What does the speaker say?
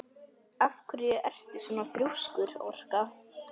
Af hverju ertu svona þrjóskur, Orka?